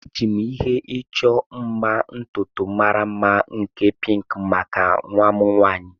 Eji m ihe ịchọ mma ntutu mara mma nke pinki maka nwa m nwaanyị.